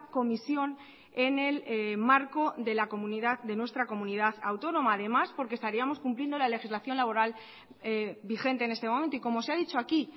comisión en el marco de la comunidad de nuestra comunidad autónoma además porque estaríamos cumpliendo la legislación laboral vigente en este momento y como se ha dicho aquí